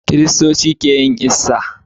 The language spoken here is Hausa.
Kristoci keyin "Easter "